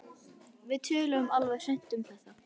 Við töluðum alveg hreint út um þetta.